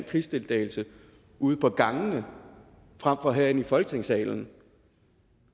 krigsdeltagelse ude på gangene frem for herinde i folketingssalen